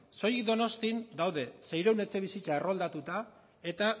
soilik donostian daude seiehun etxebizitza erroldatuta eta